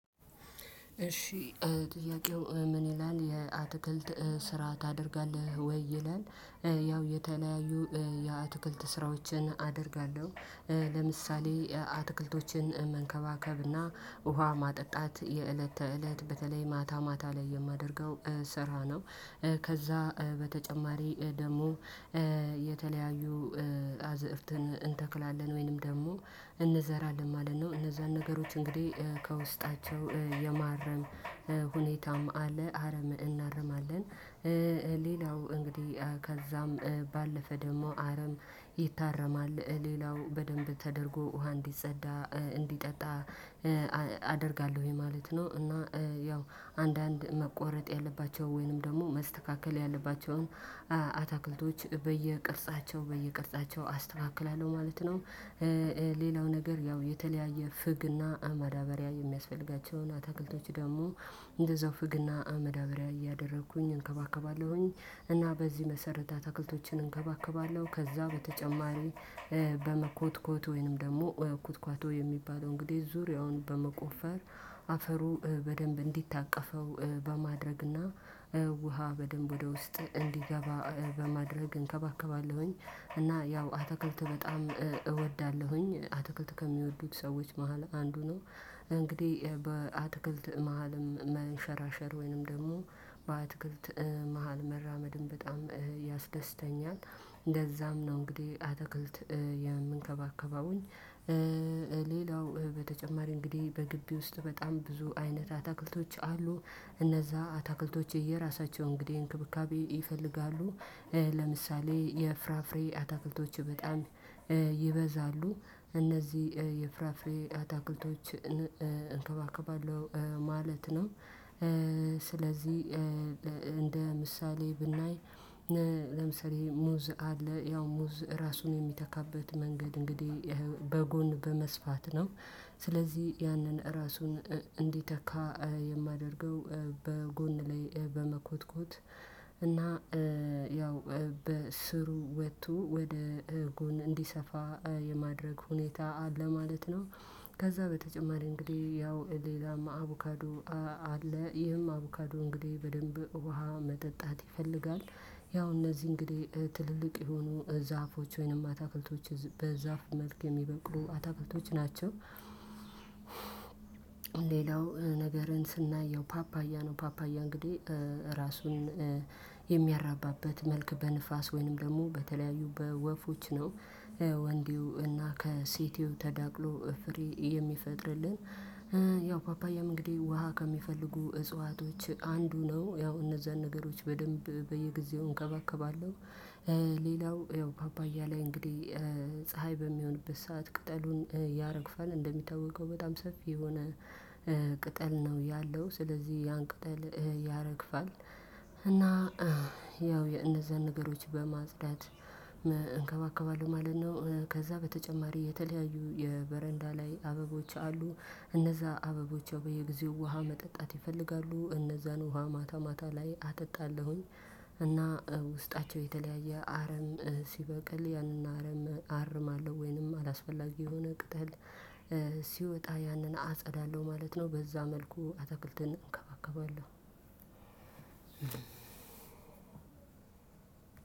እሺ ጥያቄው ምን ይላል? የአትክልት ስራ ታደርጋለህ? ወይ ይላል ያው የተለያዩ የአትክልት ስራዎችን አደርጋለሁ። ለምሳሌ አትክልቶችን መንከባከብና፣ ውሃ ማጠጣት የእለት ተእለት በተለይ ማታ ማታ ላይ የማደርገው ስራ ነው። ከዛ በተጨማሪ ደግሞ የተለያዩ አዝእርትን እንተክላለን ወይንም ደግሞ እንዘራለን። ማለት ነው እነዛን ነገሮች እንግዲህ ከውስጣቸው የማረም ሁኔታም አለ። አረም እናርማለን። ሌላው እንግዲህ ከዛም ባለፈ ደግሞ አረም ይታረማል። ሌላው በደንብ ተደርጎ ውሃ እንዲጸዳ እንዲጠጣ አደርጋለሁኝ። ማለት ነው እና ያው አንዳንድ መቆረጥ ያለባቸው ወይንም ደግሞ መስተካከል ያለባቸውን አታክልቶች በየቅርጻቸው በየቅርጻቸው አስተካክላለሁ። ማለት ነው ሌላው ነገር ያው የተለያየ ፍግና አማዳበሪያ የሚያስፈልጋቸውን አትክልቶች ደግሞ እንደ ዘፍግና አመዳብሪያ እያደረኩኝ እንከባከባለሁኝ። እና በዚህ መሰረት አትክልቶችን እንከባከባለሁ። ከዛ በተጨማሪ በመኮትኮት ወይንም ደግሞ ኩትኳቶ የሚባለው እንግዲህ ዙሪያውን በመቆፈር አፈሩ በደንብ እንዲታቀፈው በማድረግና ውሃ በደንብ ወደ ውስጥ እንዲገባ በማድረግ እንከባከባለሁኝ እና ያው አተክልት በጣም እወዳለሁኝ። አትክልት ከሚወዱት ሰዎች መሃል አንዱ ነው። እንግዲህ በአትክልት መሃልም መንሸራሸር ወይንም ደግሞ በአትክልት መሃል መራመድ በጣም ያስደስተኛል። እንደዛም ነው እንግዲህ አተክልት የምንከባከባውኝ ሌላው በተጨማሪ እንግዲህ በግቢ ውስጥ በጣም ብዙ አይነት አታክልቶች አሉ። እነዛ አታክልቶች የየራሳቸው እንግዲህ እንክብካቤ ይፈልጋሉ። ለምሳሌ የፍራፍሬ አታክልቶች በጣም ይበዛሉ። እነዚህ የፍራፍሬ አታክልቶች እንከባከባለሁ። ማለት ነው ስለዚህ እንደ ምሳሌ ብናይ ለምሳሌ ሙዝ አለ። ያው ሙዝ ራሱን የሚተካበት መንገድ እንግዲህ በጎን በመስፋት ነው። ስለዚህ ያንን እራሱን እንዲተካ የማደርገው በጎን ላይ በመኮትኮት እና ያው በስሩ ወጥቶ ወደ ጎን እንዲሰፋ የማድረግ ሁኔታ አለ። ማለት ነው ከዛ በተጨማሪ እንግዲህ ያው ሌላማ አቡካዶ አለ። ይህም አቡካዶ እንግዲህ በደንብ ውሃ መጠጣት ይፈልጋል። ያው እነዚህ እንግዲህ ትልልቅ የሆኑ ዛፎች ወይንም አታክልቶች በዛፍ መልክ የሚበቅሉ አታክልቶች ናቸው። ሌላው ነገርን ስናየው ፓፓያ ነው ፓፓያ እንግዲህ ራሱን የሚያራባበት መልክ በንፋስ ወይንም ደግሞ በተለያዩ በወፎች ነው። ወንዲው እና ከሲቲው ተዳቅሎ ፍሬ የሚፈጥርልን ያው ፓፓያም እንግዴ ውሃ ከሚፈልጉ እጽዋቶች አንዱ ነው። ያው እነዛን ነገሮች በደንብ በየጊዜው እንከባከባለሁ። ሌላው ያው ፓፓያ ላይ እንግዲህ ፀሀይ በሚሆንበት ሰዓት ቅጠሉን ያረግፋል። እንደሚታወቀው በጣም ሰፊ የሆነ ቅጠል ነው ያለው። ስለዚህ ያን ቅጠል ያረግፋል። እና ያው የነዛን ነገሮች በማጽዳት እንከባከባለሁ ማለት ነው ከዛ በተጨማሪ የተለያዩ የበረንዳ ላይ አበቦች አሉ። እነዛ አበቦች በየጊዜው ውሃ መጠጣት ይፈልጋ። እነዛን ውሃ ማታ ማታ ላይ አጠጣለሁኝ። እና ውስጣቸው የተለያየ አረም ሲበቅል ያንን አረም አርማለሁ። ወይንም አላስፈላጊ የሆነ ቅጠል ሲወጣ ያንን አጸዳለሁ። ማለት ነው በዛ መልኩ አትክልትን እንከባከባለን።